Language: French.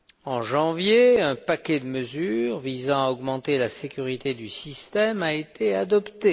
En janvier, un paquet de mesures visant à augmenter la sécurité du système a été adopté.